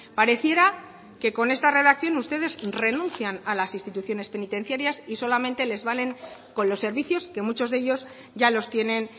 pareciera que con esta redacción ustedes renuncian a las instituciones penitenciarias y que solamente les valen con los servicios que muchos de ellos ya los tienen